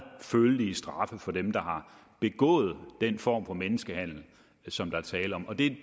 følelige straffe for dem der har begået den form for menneskehandel som der er tale om